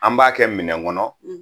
An b'a kɛ minɛn kɔnɔ